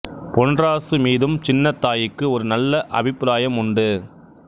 பொன்ராசு மீதும் சின்னத் தாயிக்கு ஒரு நல்ல அபிப்பிராயம் உண்டு